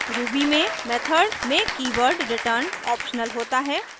ruby में method में keyword return optional होता है